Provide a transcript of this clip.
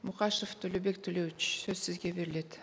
мұқашев төлебек толеуович сөз сізге беріледі